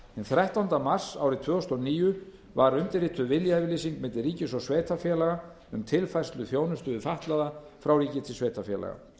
þrettánda mars árið tvö þúsund og níu var undirrituð viljayfirlýsing milli ríkis og sveitarfélaga um tilfærslu þjónustu við fatlaða frá ríki til sveitarfélaga